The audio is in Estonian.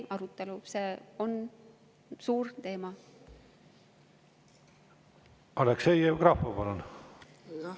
Aleksei Jevgrafov, palun!